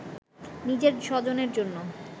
নিজের স্বজনের জন্য